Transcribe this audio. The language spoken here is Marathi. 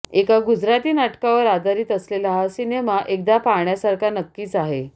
एका गुजराथी नाटकावर आधारित असलेला हा सिनेमा एकदा पाहण्यासारखा नक्कीच आहे